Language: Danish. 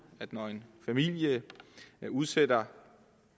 når en familie udsætter